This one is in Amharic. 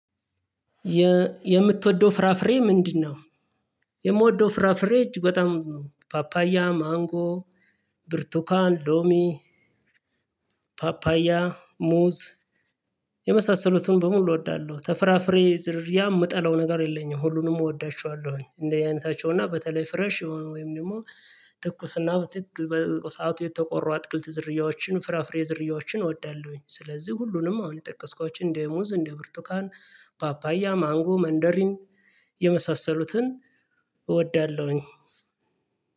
የምትወደው ፍራፍሬ ምንድነው? የምወደው ፍራፍሬ እጅ በጣም ነው ፓፓያ ማንጎ ብርቱካን ሎሚ ፓፓያ ሙዝ የመሳሰሉትን በሙሉ እወዳለሁ። ተፍራፍሬ ያ የምጠላው ነገር የለኝም ሁሉንም እወዳቸዋለሁኝ እንደ አይነታቸው እና በተለይ ፍረሽ የሆነ ወይም ደግሞ ትኩስና በትክክል በሰአቱ የተቆራ አትክልት ዝርያዎችን ፍራፍሬ ዝርያዎችን እወዳለሁኝ። ስለዚህ ሁሉንም አሁን የጠቀስኳችን እንደ ሙዝ እንደ ብርቱካን ፓፓያ ማንጎ መንደሪን የመሳሰሉትን እወዳለሁኝ።